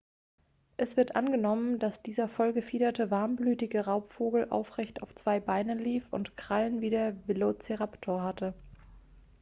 es wird angenommen dass dieser voll gefiederte warmblütige raubvogel aufrecht auf zwei beinen lief und krallen wie der velociraptor hatte